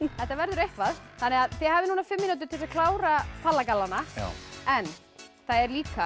þetta verður eitthvað þið hafið núna fimm mínútur til þess að klára palla gallana en það er líka